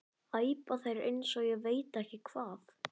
æpa þeir eins og ég veit ekki hvað.